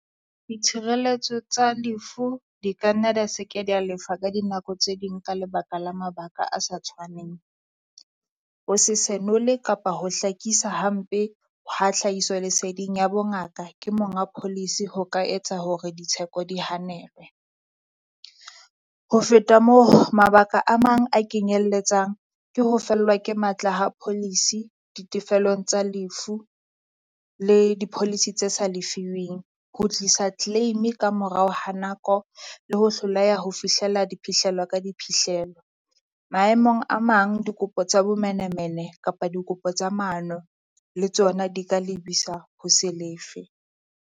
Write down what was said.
Ditshireletso tsa lefu di kanna dia se ke dia lefa ka dinako tse ding ka lebaka la mabaka a sa tshwaneng. Ho se senole kapa ho hlakisa hampe ha hlahiso leseding ya bongaka ke monga policy ho ka etsa hore ditsheko di hanelwe. Ho feta moo, mabaka a mang a kenyeletsang ke ho fellwa ke matla ha policy ditefelong tsa lefu le di-policy tse sa lefiwing ho tlisa claim-e kamorao ha nako, le ho hloleha ho fihlela diphihlelo ka diphihlelo. Maemong a mang dikopo tsa bomenemene kapa dikopo tsa maano le tsona di ka lebisa ho se lefe.